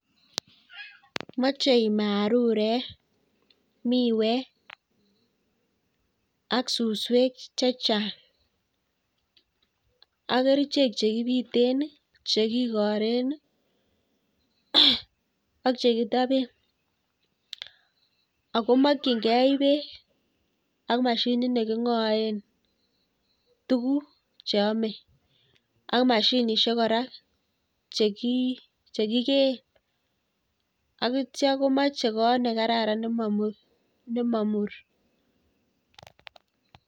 Moche marurek, miwek ak suswek chechang ak kerichek chekibiten, chekikuren ak chekitoben ak ko mokying'e beek ak mashinit neking'oen tukuk cheome ak mashinishek kora chekikeen akityo komoche koot nekararan nemomur.